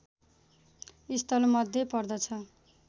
स्थलमध्ये पर्दछ